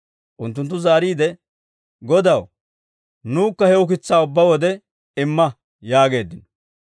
Unttunttu zaariide, «Godaw, nukka he ukitsaa ubbaa wode imma» yaageeddino.